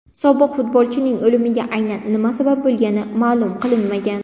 Sobiq futbolchining o‘limiga aynan nima sabab bo‘lgani ma’lum qilinmagan.